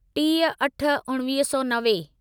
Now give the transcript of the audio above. टीह अठ उणिवीह सौ नवे